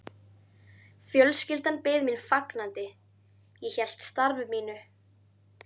Fjölskyldan beið mín fagnandi, ég hélt starfi mínu.